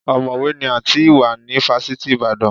Ọ̀mọ̀wé ni Àǹtí Ìwà ní fásitì Ìbàdàn.